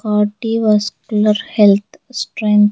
Cardi vascular health strength --